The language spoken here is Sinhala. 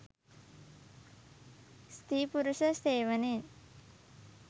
ස්ත්‍රී පුුරුෂ සේවනයෙන්